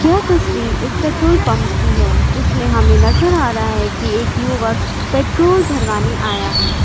यह तस्वीर एक पेट्रोल पंप की है जिसमें हमें नजर आ रहा है कि एक युवक पेट्रोल भरवाने आया है।